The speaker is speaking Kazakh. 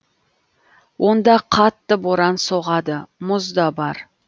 онда қатты боран соғады мұз да бар